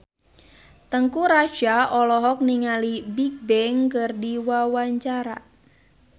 Teuku Rassya olohok ningali Bigbang keur diwawancara